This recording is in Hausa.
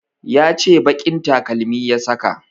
Ya ce baƙin takalmi ya saka